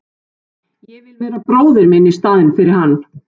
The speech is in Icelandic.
Ég vil vera bróðir minn í staðinn fyrir hann.